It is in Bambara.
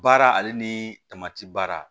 Baara ale ni tamati baara